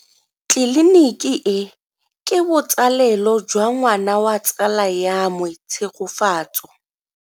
Tleliniki e, ke botsalelo jwa ngwana wa tsala ya me Tshegofatso.